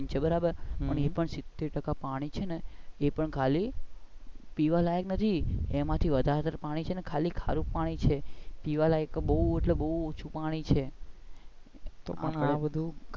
બરાબર છે ને એમ પણ સિતેર ટાકા પાણી છે ને એ પણ ખાલી પીવા લાયક નથી એમાં થી વધાર પાણી તો ખરું પાણી છે પીવા લાયક તો બઉ એટલે બઉ ઓછું પાણી છે. એ પણ છે ને,